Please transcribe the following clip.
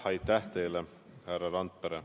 Aitäh teile, härra Randpere!